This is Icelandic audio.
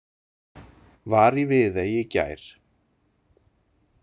Var í Viðey í gær.